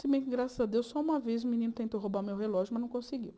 Se bem que, graças a Deus, só uma vez um menino tentou roubar meu relógio, mas não conseguiu.